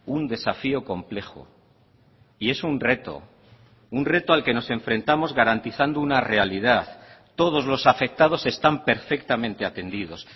un desafío complejo y es un reto un reto al que nos enfrentamos garantizando una realidad todos los afectados están perfectamente atendidos